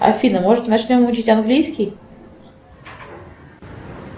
афина может начнем учить английский